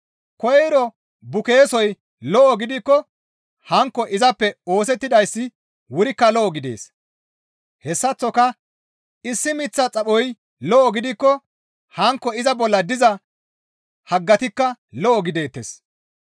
Koyro bukeesoy lo7o gidikko hankko izappe oosettizayssi wurikka lo7o gidees; hessaththoka issi miththa xaphoy lo7o gidikko hankko iza bolla diza haggatikka lo7o gideettes.